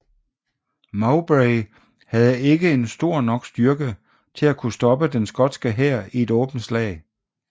Mowbray havde ikke en stor nok styrke til at kunne stoppe den skotske hær i et åbent slag